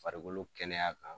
Farikolo kɛnɛya kan.